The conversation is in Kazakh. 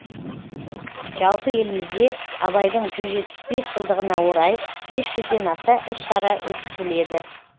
жалпы елімізде абайдың жүз жетпіс бес жылдығына орай бес жүзден аса іс шара өткізіледі